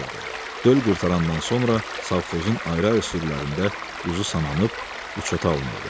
Döl qurtarandan sonra savxozun ayrı-ayrı sürülərində quzu sananıb, uçota alınırdı.